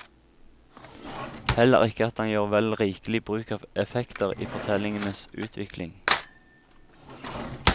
Heller ikke at han gjør vel rikelig bruk av effekter i fortellingens utvikling.